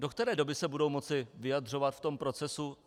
Do které doby se budou moci vyjadřovat v tom procesu?